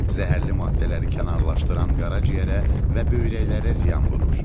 Zəhərli maddələri kənarlaşdıran qaraciyərə və böyrəklərə ziyan vurur.